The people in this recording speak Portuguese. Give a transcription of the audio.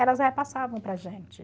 Elas repassavam para a gente.